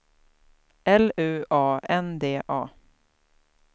L U A N D A